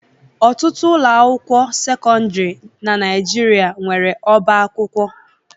Ọtụtụ ụlọ akwụkwọ sekọndrị na Nigeria nwere ọba akwụkwọ.